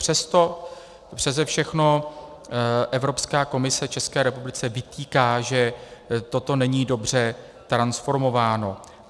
Přesto přese všechno Evropská komise České republice vytýká, že toto není dobře transformováno.